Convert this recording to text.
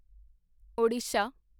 Odisha